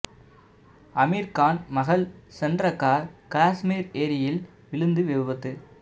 ஆமீர் கான் மகள் சென்ற கார் காஷ்மீர் ஏரியில் விழுந்து விபத்து